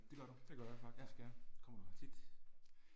Det gør du, ja. Kommer du her tit?